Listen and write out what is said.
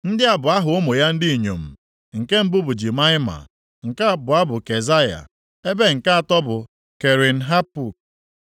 Ndị a bụ aha ụmụ ya ndị inyom: nke mbụ bụ Jimaịma, nke abụọ bụ Kezaya, ebe nke atọ bụ Kerin-Hapuk.